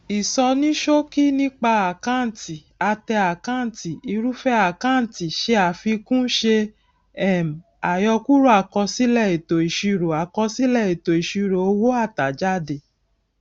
isonisoki nipa akanti ate akanti irúfẹ àkáǹtì se àfikún ṣe um àyọkúrò akosile eto isiro akosile eto isiro owo atajade